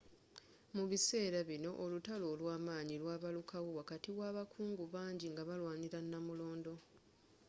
mubiseera bino olutalo olwamanyi lwabaluka wo wakati wa abakungu bangi nga balwanira namulondo